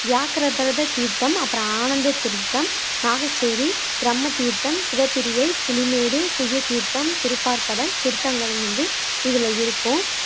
வியாக்கிரபரத தீர்த்தம் அப்பறம் ஆனந்த தீர்த்தம், நாகச்சேரி, பிரம்ம தீர்த்தம், சிவப்பிரியை, புலிமேடு, குய்ய தீர்த்தம், திருப்பாற்கடல் தீர்த்தங்களும் வந்து இதுல இருக்கும்